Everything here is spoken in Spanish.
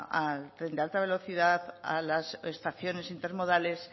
al tren de alta velocidad a las estaciones intermodales